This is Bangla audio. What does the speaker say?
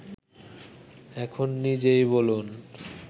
এখন নিজেই বলুন